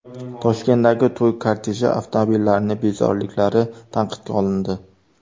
Toshkentdagi to‘y korteji avtomobillarining bezoriliklari tanqidga olindi .